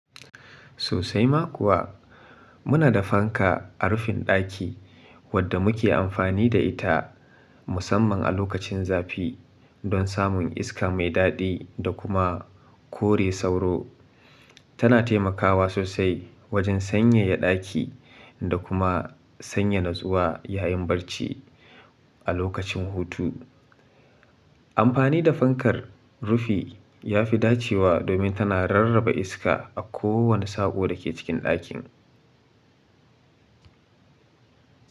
Sosai ma kuwa, muna da fanka a rufin daki wadda muke amfani da ita musamman a lokacin zafi don samun iska mai dadi da kuma kore sauro. Tana taimakawa sosai wajen sanyaya daki da kuma sanya natsuwa yayin barci a lokacin hutu. Amfani da fankar rufi ya fi dacewa domin tana rarraba iska a kowane saƙo da ke cikin dakin.